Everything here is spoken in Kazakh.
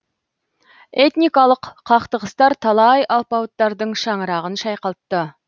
этникалық қақтығыстар талай алпауыттардың шаңырағын шайқалтты